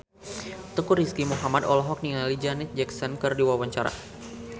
Teuku Rizky Muhammad olohok ningali Janet Jackson keur diwawancara